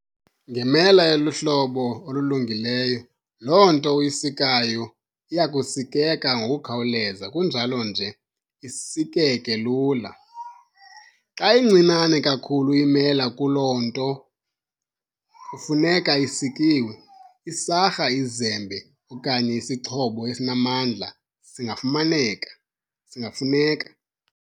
Ngemela eluhlobo olulungileyo, loo nto uyisikayo iyakusikeka ngokukhawuleza kunjalo nje isikeke lula. Xa incinane kakhulu imela kuloo nto kufuneka isikiwe, isarha, izembe, okanye isixhobo esinamandla singafuneka.